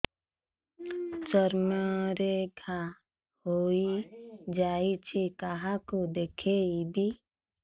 ଚର୍ମ ରେ ଘା ହୋଇଯାଇଛି କାହାକୁ ଦେଖେଇବି